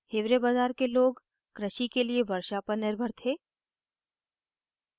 hiware bazar के लोग कृषि के लिए वर्षा पर निर्भर थे